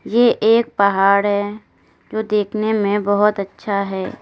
ये एक पहाड़ है जो दिखने में बहोत अच्छा है।